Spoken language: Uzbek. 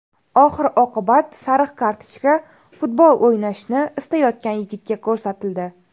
Oxir-oqibat sariq kartochka futbol o‘ynashni istayotgan yigitga ko‘rsatildi.